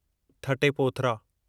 थटे Pothra